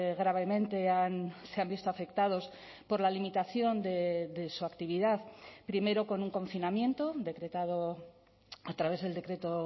gravemente se han visto afectados por la limitación de su actividad primero con un confinamiento decretado a través del decreto